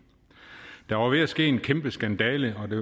der var ved at ske en kæmpe skandale og det